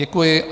Děkuji.